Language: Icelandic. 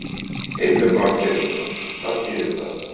Heimir Már Pétursson: Hvað þýðir það?